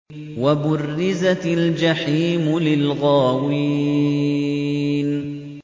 وَبُرِّزَتِ الْجَحِيمُ لِلْغَاوِينَ